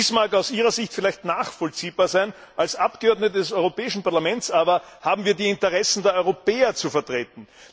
Dies mag aus ihrer Sicht vielleicht nachvollziehbar sein, als Abgeordnete des Europäischen Parlaments aber haben wir die Interessen der Europäer zu vertreten!